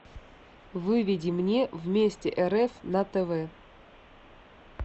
выведи мне вместе рф на тв